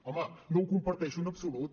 home no ho comparteixo en absolut